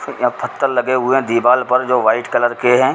यहाँ पत्थर लगे हुए हैं दिवार पर जो वाइट कलर के हैं।